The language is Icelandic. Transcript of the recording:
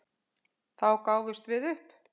Þá gáfumst við upp.